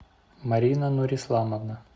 марина нурисламовна